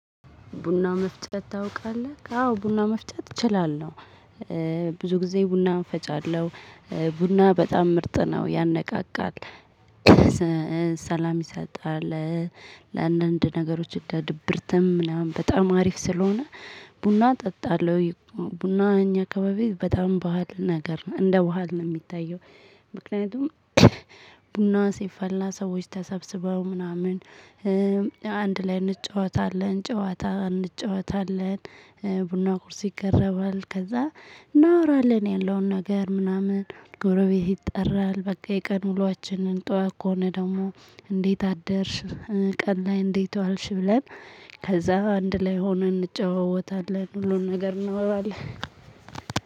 ቡና መፍጨት ታውቃለህ አዎ ቡና መፍጨት እችላለሁ ብዙ ጊዜ ቡና እፈጫለሁ። ቡና በጣም ምርጥ ነው ያነቃቃል። ሰላም ይሰጣል። ለአንዳንድ ነገሮች ለድብርትም ምናምን በጣም አሪፍ ስለሆነ ቡና እጠጣለሁ። ቡና እኛ አካባቢ በጣም ባህል ነገር ነው እንደ ባህል ነው የሚታየው። ምክንያቱም ቡና ሲፈላ ሰዎች ተሰብስበው ምናምን አንድ ላይ እንጫወታለን ጨዋታ እንጫወታለን። ቡና ቁርስ ይቀረባል ከዛ እናወራለን ያለውን ነገር ምናምን ጎረቤት ይጠራል። በቃ የቀን ውሎአችንን ጠዋት ከሆነ ደግሞ እንዴት አደርሽ ቀን ላይ እንዴት ዋልሽ ብለን ከዛ አንድ ላይ ሆኖ እንጨዋወታለን ሁሉን ነገር እናወራለን።